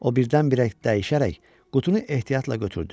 O birdən-birə dəyişərək qutunu ehtiyatla götürdü.